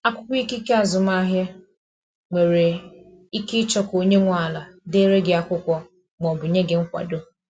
Akwụkwọ ikike azụmahịa, nwere ike ịchọ ka onye nwe ala dere gị akwụkwọ ma ọ bụ nye gị nkwado.